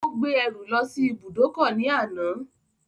Ó gbé ẹrù lọ sí ibùdókọ̀ ní àná